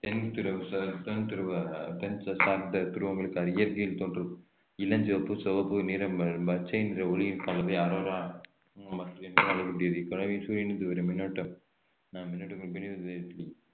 தென் துருவ~ தென் துருவங்களுக்கு அது இயற்கையின் தோன்றும் இளஞ்சிவப்பு சிவப்பு நிறம் பச்சைநிற ஒளியில் கலந்து சூரியனிலிருந்து வரும் மின்னூட்ட